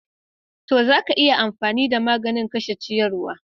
To, za ka iya amfani da maganin kashe ciyawar.